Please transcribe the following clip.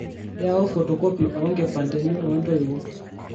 yaau photocopy oo nkimpandeni oo ntoiwuo